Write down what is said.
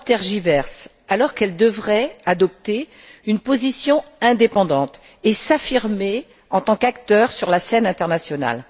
L'Europe tergiverse alors qu'elle devrait adopter une position indépendante et s'affirmer en tant qu'acteur sur la scène internationale.